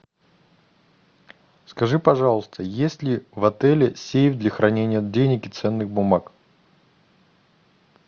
скажи пожалуйста есть ли в отеле сейф для хранения денег и ценных бумаг